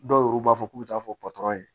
Dɔw yɛrɛw b'a fɔ k'u bɛ taa fɔ